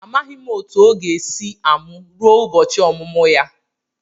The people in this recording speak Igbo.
Amaghị m otu o ga-esi amụ ruo ụbọchị ọmụmụ ya.